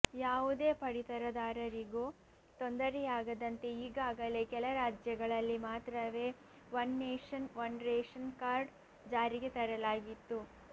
ಯಾವುದೇ ಪಡಿತರದಾರರಿಗೂ ತೊಂದರೆಯಾಗದಂತೆ ಈಗಾಗಲೇ ಕೆಲ ರಾಜ್ಯಗಳಲ್ಲಿ ಮಾತ್ರವೇ one nation one ration card ಜಾರಿಗೆ ತರಲಾಗಿತ್ತು